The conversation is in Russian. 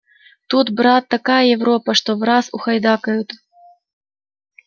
тут брат такая европа что враз ухайдакают